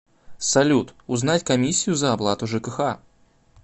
салют узнать комиссию за оплату жкх